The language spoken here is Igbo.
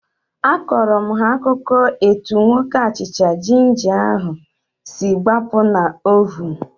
Akọrọ m ha akụkọ etu nwoke achịcha jinja ahu si gbapụ na ovunu